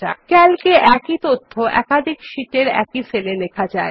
CALC এ একই তথ্য একাধিক শিট এর একই সেল এ লেখা যায়